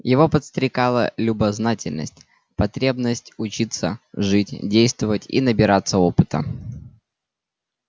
его подстрекала любознательность потребность учиться жить действовать и набираться опыта